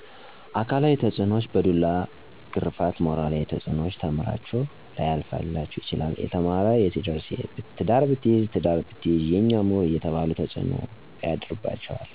አካላዊ ተፅኖዎች፣ በዱላ ግረፍት ሞራላዊ ተፅኖዎች፣ ተምራችሁ ላያልፈላችሁ ይችላል የተማር የትደርስ ትዳር ብትይዝ ትዳር ብትይዥ የኛ ሙሁር አየተባሉ ተፅኖ ያድርባቸዋል።